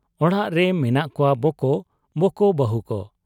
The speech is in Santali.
ᱚᱲᱟᱜ ᱨᱮ ᱢᱮᱱᱟᱜ ᱠᱚᱣᱟ ᱵᱚᱠᱚ, ᱵᱚᱠᱚ ᱵᱟᱹᱦᱩᱠᱚ ᱾